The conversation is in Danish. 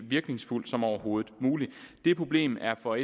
virkningsfuldt som overhovedet muligt det problem er for